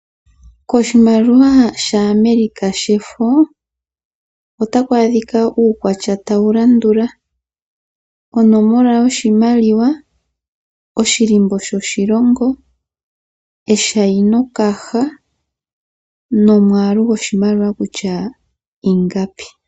Koshimaliwa sha America shefo otaku adhika uukwatya tawu landula; Onomola yoshimaliwa ,oshilimbo sho shilongo ,eshainokaha nomwaaalu goshimaliwa kutya ingapi.